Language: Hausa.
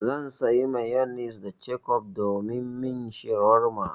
Zan sayi mayonis da kecof domin min shawarma.